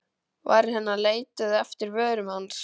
Varir hennar leituðu eftir vörum hans.